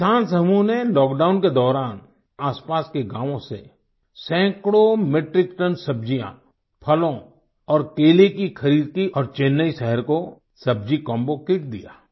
इस किसान समूह ने लॉकडाउन के दौरान आसपास के गाँवों से सैकड़ों मेट्रिक टोने सब्जियाँ फलों और केले की खरीद की और चेन्नई शहर को सब्जी कॉम्बो किट दिया